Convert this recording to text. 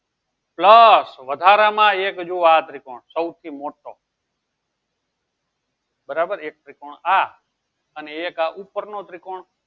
plus વધારા માં એક જુવો આ ત્રિકોણ સૌથી મોટો બરાબર એક ત્રિકોણ આ અને એક ઉપર નું ત્રિકોણ